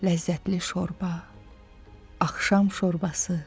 Ləzzətli şorba, axşam şorbası.